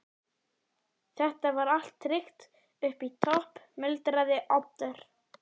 Þetta var allt tryggt upp í topp- muldraði Oddur.